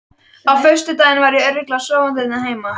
Á föstudaginn var ég örugglega sofandi hérna heima.